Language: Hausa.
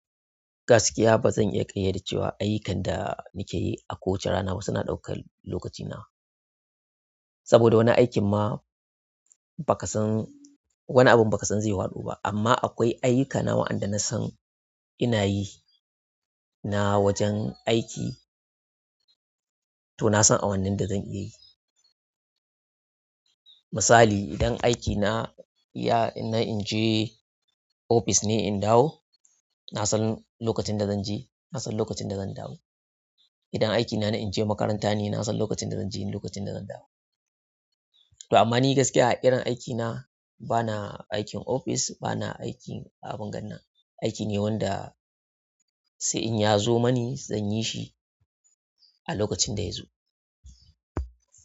Gaskiya ba zan iya ƙayyade cewa ayyukan da nake yi a kowace rana ba suna ɗaukar lokacina. Saboda wani aikin ma baka san, wani abun ba ka san zai haɗu ba. Amma akwai ayyukana waɗanda na san ina yi na wajen aiki, to na san awannin da zan iya yi. Misali idan aikina ya, na in je ofis ne in dawo, na san lokacin da zan je, na san lokacin da zan dawo. Idan aikina na in je makaranta ne, na san lokacin da zan je lokacin da zan dawo. Amma ni gaskiya a irin aikina ba na aikin ofis, ba na aiki a abin ganna. Aiki ne wanda sai in ya zo mani zan yi shi a lokacin da ya zo.